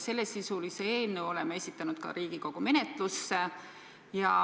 Sellesisulise eelnõu oleme esitanud ka Riigikogu menetlusse.